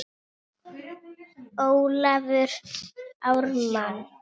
Ólafur Ármann.